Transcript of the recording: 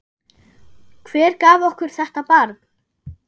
Hver gaf okkur þetta barn?